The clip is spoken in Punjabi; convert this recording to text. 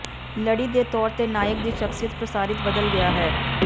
ਲੜੀ ਦੇ ਤੌਰ ਤੇ ਨਾਇਕ ਦੀ ਸ਼ਖ਼ਸੀਅਤ ਪ੍ਰਸਾਰਿਤ ਬਦਲ ਗਿਆ ਹੈ